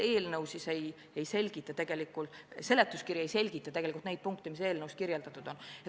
Lisaks muidugi veel see, et seletuskiri ei selgita neid punkte, mis eelnõus kirjas on.